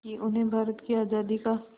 कि उन्हें भारत की आज़ादी का